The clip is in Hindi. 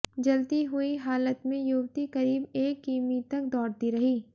जलती हुई हालत में युवती करीब एक किमी तक दौड़ती रही